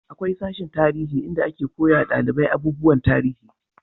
akwai sashen tarihi inda ake koya dalibai abubuwan tarihi